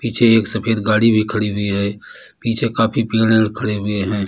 पीछे एक सफेद गाड़ी भी खड़ी हुई है पीछे काफी खड़े हुए हैं।